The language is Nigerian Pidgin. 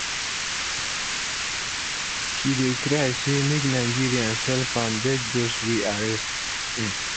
she dey cry say make nigerians help am beg dos wey arrest um